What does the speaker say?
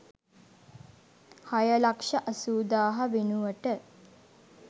හය ලක්ෂ අසූදාහ වෙනුවට